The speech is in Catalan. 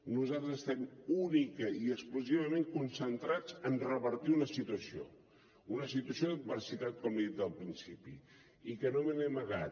nosaltres estem únicament i exclusivament concentrats a revertir una situació una situació d’adversitat com li he dit al principi i que no me n’he amagat